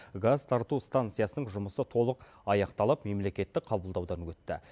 газ тарту станциясының жұмысы толық аяқталып мемлекеттік қабылдаудан өтті